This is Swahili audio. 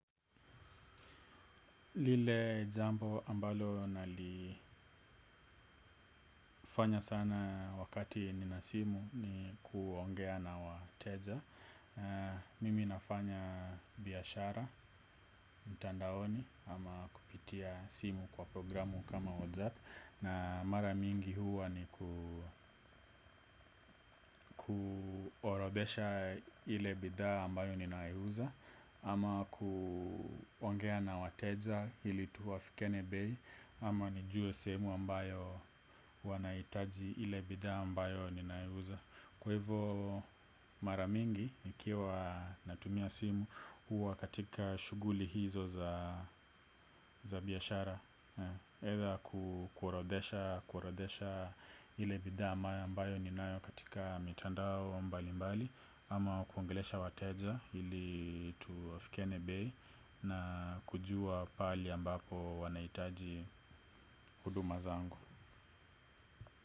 Lile jambo ambalo nali nalifanya sana wakati nina simu ni kuongea na wateja. Mimi nafanya biashara, mtandaoni ama kupitia simu kwa programu kama WhatsApp, na mara mingi huwa ni kuorodhesha ile bidhaa ambayo ninauza, ama kuongea na wateja ili tuafikiane bei ama nijue sehemu ambayo wanahitaji ile bidhaa ambayo ninauza. Kwa hivo mara mingi nikiwa natumia simu huwa katika shughuli hizo za biashara Either kuendesha ile bidhaa ambayo ninayo katika mitandao mbalimbali ama kuongelesha wateja ili tuafikiane bei na kujua pale ambapo wanahitaji huduma zangu.